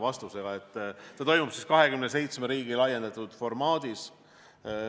See toimub 27 riigi osalemisel, laiendatud formaadis.